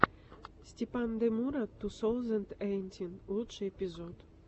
степандемура ту соузэнд эйтин лучший эпизод